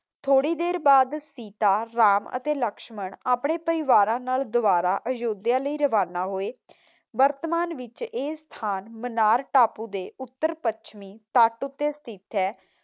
ਥੋੜੀ ਦੇਰ ਬਾਅਦ ਸੀਤਾ, ਰਾਮ ਅਤੇ ਲਕਸ਼ਮਣ ਆਪਣੇ ਪਰਿਵਾਰਾਂ ਨਾਲ ਦੋਬਾਰਾ ਅਯੁੱਧਿਆ ਲਈ ਰਵਾਨਾ ਹੋਏ। ਵਰਤਮਾਨ ਵਿਚ ਇਹ ਸਥਾਨ ਮਨਾਰ ਟਾਪੂ ਦੇ ਉੱਤਰ ਪੱਛਮੀ ਤੱਟ ਉੱਤੇ ਸਥਿਤ ਹੈ।